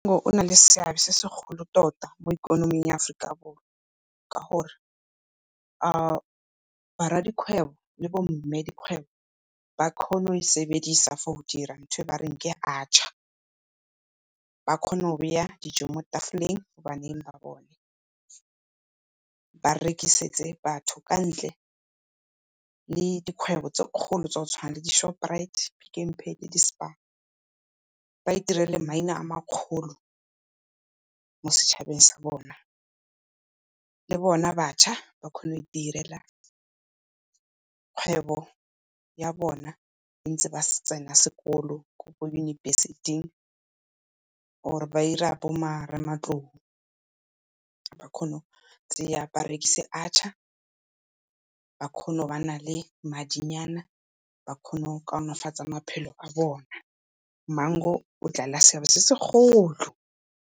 Mango o na le seabe se segolo tota mo ikonoming ya Aforika Borwa, ka gore ba rradikgwebo le bo mmedikgwebo ba kgona go e sebedisa for go dira ntho e bareng ke achaar, ba kgone go beya dijo mo tafoleng baneng ba bone. Ba rekisetse batho ka ntle le dikgwebo tse kgolo tsa go tshwana le di-Shoprite, Pick and Pay le di-Spar. Ba itirele maina a ma kgolo mo setšhabeng sa bona. Le bona batjha ba kgone go itirela kgwebo ya bona ntse ba tsena sekolo, ko University-ing or-o ba 'ira bo ba kgone go tseya ba rekise achaar, ba kgone go bana le madinyana, ba kgone go kaonofatsa maphelo a bona mango o dlala seabe se segolo.